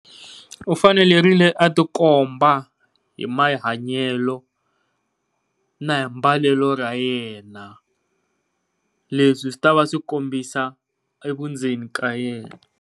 U fanelerile a tikomba hi mahanyelo na hi mbalelo ra yena, leswi swi ta va swi kombisa vundzeni ka yena.